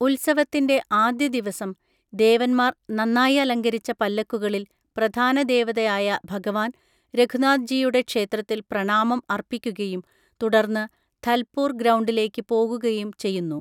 ഉത്സവത്തിന്റെ ആദ്യ ദിവസം, ദേവന്മാർ നന്നായി അലങ്കരിച്ച പല്ലക്കുകളിൽ പ്രധാന ദേവതയായ ഭഗവാൻ, രഘുനാഥ് ജിയുടെ ക്ഷേത്രത്തിൽ പ്രണാമം അർപ്പിക്കുകയും തുടർന്ന് ധൽപൂർ ഗ്രൗണ്ടിലേക്ക് പോകുകയും ചെയ്യുന്നു.